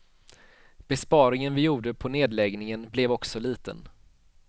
Besparingen vi gjorde på nedläggningen blev också liten.